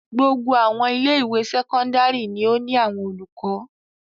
Gbogbo àwọn ilé-ìwé sẹ́kọ́ndárì ni ó ní àwọn olùkọ́.